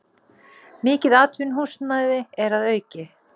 Mikið atvinnuhúsnæði er að auki